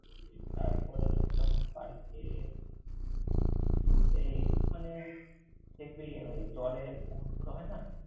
তারপরে, তোর যেমন park এ এই মানে দেখবি ওই জলের boat গুলো হয় না।